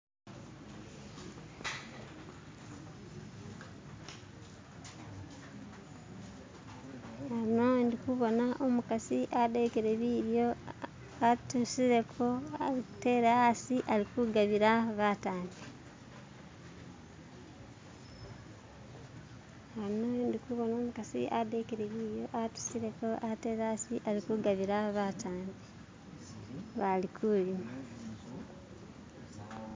Ano ndikhubona umukhasi adekele bidyo atusileko atele asi alikugabila batambi. balikulya.